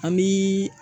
An bi